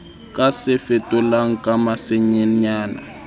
ka se fetolang ka masenenyana